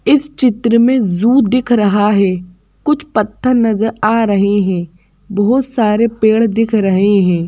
इस चित्र में जू दिख रहा है कुछ पत्थर नजर आ रहे हैं बहुत सारे पेड़ दिख रहे हैं।